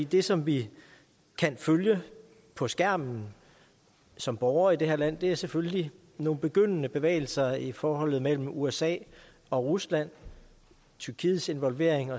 det som vi kan følge på skærmen som borgere i det her land er selvfølgelig nogle begyndende bevægelser i forholdet mellem usa og rusland tyrkiets involvering